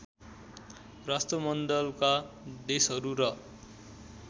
राष्ट्रमण्डलका देशहरू र